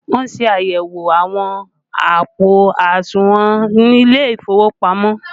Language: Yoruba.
Wọn ṣe àyẹ̀wò àwọn àpò àsùnwọ̀n ilé ìfowópamọ́